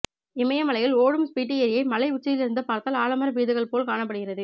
இமயமலையில் ஓடும் ஸ்பிட்டி ஏரியை மலை உச்சியிலிருந்து பார்த்தால் ஆலமர விழுதுகள் போல் காணப்படுகிறது